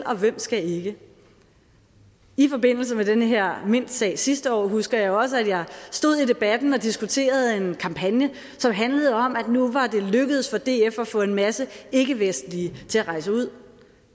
og hvem skal ikke i forbindelse med den her mintsag sidste år husker jeg også at jeg stod i debatten og diskuterede en kampagne som handlede om at nu var det lykkedes for df at få en masse ikkevestlige til at rejse ud